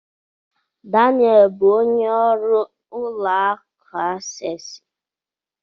Daniel bụ onye ọrụ ụlọ akụ Asesi